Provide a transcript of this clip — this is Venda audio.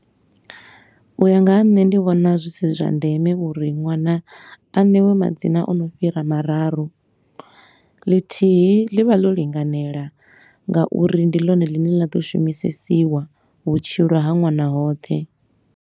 U ya nga ha nṋe ndi vhona zwi si zwa ndeme uri ṅwana a newe madzina o no fhira mararu, ḽithihi ḽi vha ḽo linganela nga uri ndi ḽone ḽine ḽa ḓo shumisesiwa vhutshilo ha ṅwana hoṱhe.